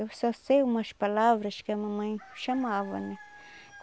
Eu só sei umas palavras que a mamãe chamava, né?